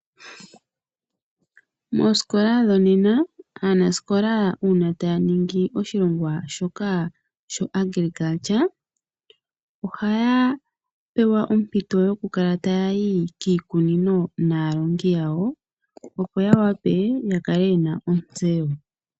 Moosikola dhongaashiyeyi, aanasikola uuna aalongwa taya ningi oshilongwa shoka shuunamapya ohaya pewa ompito yoku ya kiikunino naalongi yawo opo ya wape ya kale ye na ontseyo.